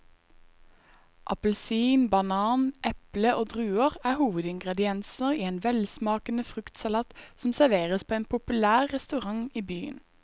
Appelsin, banan, eple og druer er hovedingredienser i en velsmakende fruktsalat som serveres på en populær restaurant i byen.